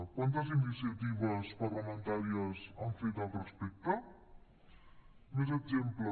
quantes iniciatives parlamentàries han fet al respecte més exemples